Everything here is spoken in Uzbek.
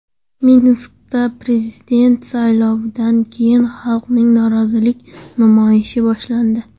Minskda prezident saylovidan keyin xalqning norozilik namoyishi boshlandi .